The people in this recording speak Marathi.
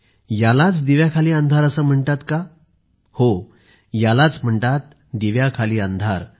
यालाच दिव्याखाली अंधार असे म्हणतात का हो यालाच म्हणतात दिव्याखाली अंधार